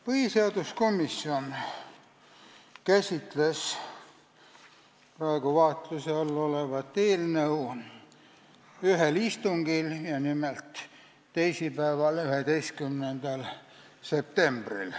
Põhiseaduskomisjon käsitles praegu vaatluse all olevat eelnõu ühel istungil, nimelt teisipäeval, 11. septembril.